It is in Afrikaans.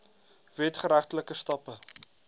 wet geregtelike stappe